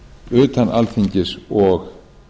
utan alþingis og